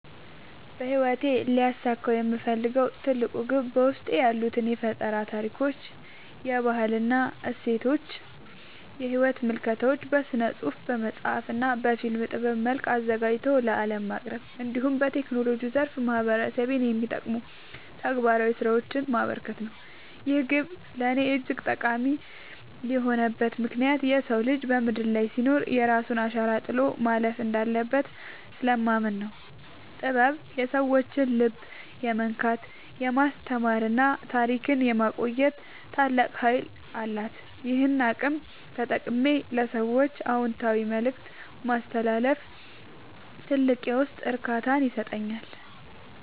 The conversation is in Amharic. በሕይወቴ ሊያሳካው የምፈልገው ትልቁ ግብ በውስጤ ያሉትን የፈጠራ ታሪኮች፣ የባህል እሴቶችና የሕይወት ምልከታዎች በሥነ-ጽሑፍ (በመጽሐፍ) እና በፊልም ጥበብ መልክ አዘጋጅቶ ለዓለም ማቅረብ፣ እንዲሁም በቴክኖሎጂው ዘርፍ ማኅበረሰቤን የሚጠቅሙ ተግባራዊ ሥራዎችን ማበርከት ነው። ይህ ግብ ለእኔ እጅግ ጠቃሚ የሆነበት ምክንያት የሰው ልጅ በምድር ላይ ሲኖር የራሱን አሻራ ጥሎ ማለፍ እንዳለበት ስለማምን ነው። ጥበብ የሰዎችን ልብ የመንካት፣ የማስተማርና ታሪክን የማቆየት ታላቅ ኃይል አላት፤ ይህንን አቅም ተጠቅሜ ለሰዎች አዎንታዊ መልእክት ማስተላለፍ ትልቅ የውስጥ እርካታን ይሰጠኛል።